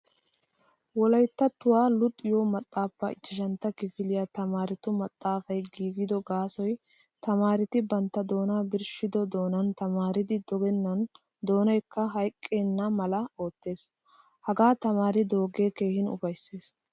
Wolayttattuwaa luxiyo maxaafaa ichchashshantta kifiliyaa tamaarettu maxaafaay giigido gaasoy tamaaretti bantta doonaa birshshido doonan tamaariddi dogenan doonaykka hayqqenalama oottees. Haga tamaariddoge keehin ufayssees.